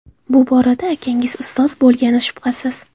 Bu borada akangiz ustoz bo‘lgani shubhasiz.